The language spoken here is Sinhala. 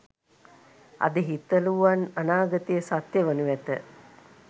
අද හිතලුවන් අනාගතයේ සත්‍ය වනු ඇත